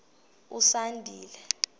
usandile